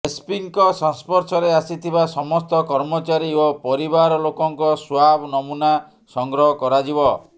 ଏସ୍ପିଙ୍କ ସଂସ୍ପର୍ଶରେ ଆସିଥିବା ସମସ୍ତ କର୍ମଚାରୀ ଓ ପରିବାରଲୋକଙ୍କ ସ୍ବାବ୍ ନମୁନା ସଂଗ୍ରହ କରାଯିବ